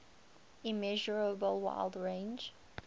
immeasurable wide range